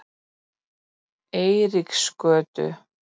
Eiríksgötu